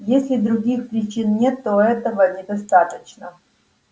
если других причин нет то этого недостаточно